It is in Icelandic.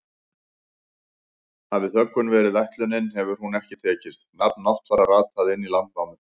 Hafi þöggun verið ætlunin hefur hún ekki tekist, nafn Náttfara rataði inn í Landnámu.